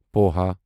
poha